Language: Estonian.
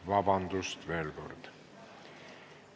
Vabandust veel kord!